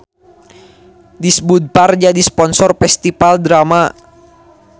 Disbudpar jadi sponsor Festival Drama